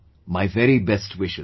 My very best wishes